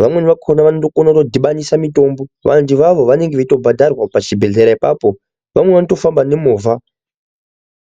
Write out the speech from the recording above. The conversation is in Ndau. vamweni vakona vanoto kone ku dhibanisa mitombo vandu ivavo vanenge veito bhadharwa pachi bhehlera ipapo vamweni vacho vanoto fambe ne movha.